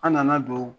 An nana don